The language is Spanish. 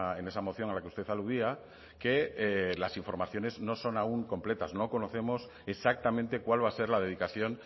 en esa moción a la que usted aludía que las informaciones no son aún completas no conocemos exactamente cuál va a ser la dedicación